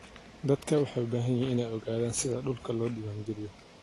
Dadku waxay u baahan yihiin inay ogaadaan sida dhulka loo diiwaangeliyo.